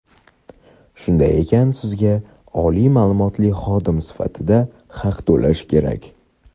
Shunday ekan sizga oliy maʼlumotli xodim sifatida haq to‘lash kerak.